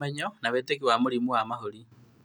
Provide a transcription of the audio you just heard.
Ũmenyo na wĩtĩkio wa mũrimũ wa mahũri